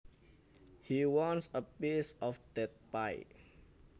He wants a piece of that pie